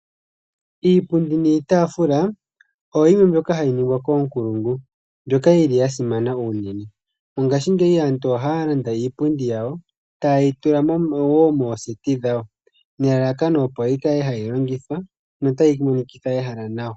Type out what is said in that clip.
Iipundi niitaafula oyo yimwe mbyoka hayi ningwa koonkulungu, mbyoka yili ya simana unene. Mongaashingeyi aantu ohaya landa iipundi yawo taye yi tula woo mooseti dhawo, nelalakano opo yi kale hayi longithwa nota yi monikitha ehala nawa.